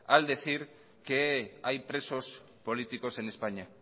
al decir que hay presos políticos en españa